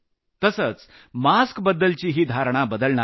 तसंच मास्कबद्दलचीही धारणा बदलणार आहे